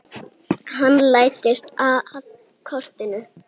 Hann læddist að kortinu.